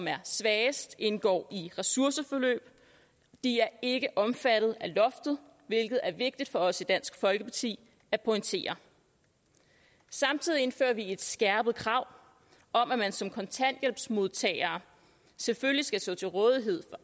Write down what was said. er svagest som indgår i ressourceforløb er ikke omfattet af loftet hvilket er vigtigt for os i dansk folkeparti at pointere samtidig indfører vi et skærpet krav om at man som kontanthjælpsmodtager selvfølgelig skal stå til rådighed